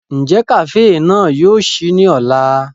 Njẹ kafee náà yóò ṣii ni ọla?